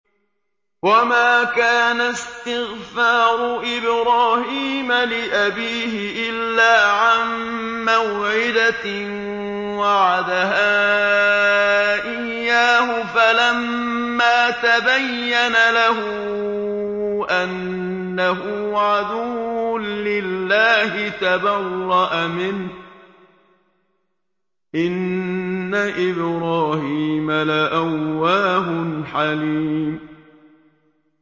وَمَا كَانَ اسْتِغْفَارُ إِبْرَاهِيمَ لِأَبِيهِ إِلَّا عَن مَّوْعِدَةٍ وَعَدَهَا إِيَّاهُ فَلَمَّا تَبَيَّنَ لَهُ أَنَّهُ عَدُوٌّ لِّلَّهِ تَبَرَّأَ مِنْهُ ۚ إِنَّ إِبْرَاهِيمَ لَأَوَّاهٌ حَلِيمٌ